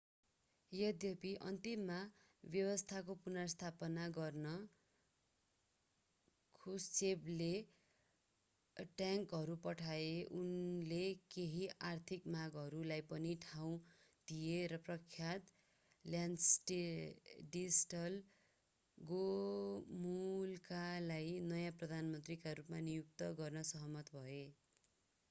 यद्यपि अन्त्यमा व्यवस्थाको पुनर्स्थापना गर्न ख्रुश्चेभले ट्याङ्कहरू पठाए उनले केही आर्थिक मागहरूलाई पनि ठाउँ दिए र प्रख्यात ल्याडिस्ल गोमुल्कालाई नयाँ प्रधानमन्त्रीको रूपमा नियुक्त गर्न सहमत भए